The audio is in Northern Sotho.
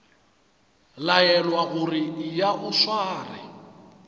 laelwa gore eya o sware